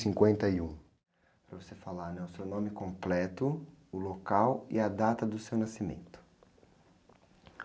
cinquenta e um. Para você falar, né? O seu nome completo, o local e a data do seu nascimento.